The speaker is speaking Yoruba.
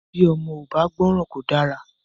Bí ọmọ ò bá gbọ́ran kò dára.